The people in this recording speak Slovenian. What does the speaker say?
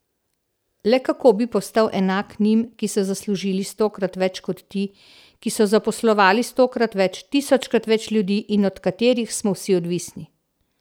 Le kako bi postal enak njim, ki so zaslužili stokrat več kot ti, ki so zaposlovali stokrat več, tisočkrat več ljudi in od katerih smo vsi odvisni.